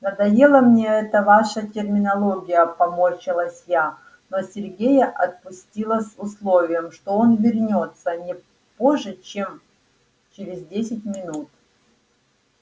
надоела мне эта ваша терминология поморщилась я но сергея отпустила с условием что он вернётся не позже чем через десять минут